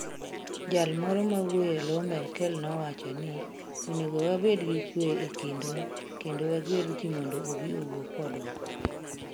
Jal moro mawuoyo e lo Merkel nowacho ni: "Onego wabed gi kuwe e kindwa kendo wagwel ji mondo obi owuo kodwa.